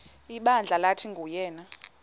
ibandla lathi nguyena